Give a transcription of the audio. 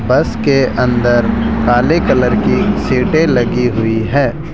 बस के अंदर काले कलर की सीटें लगी हुई है।